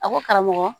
A ko karamɔgɔ